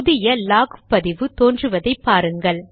புதிய லாக் பதிவு தோன்றுவதை பாருங்கள்